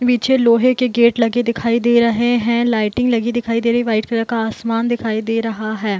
नीचे लोहे के गेट लगे दिखाई दे रहे है लाइटिंग लगी दिखाई दे रही है व्हाइट कलर का आसमान दिखाई दे रहा है ।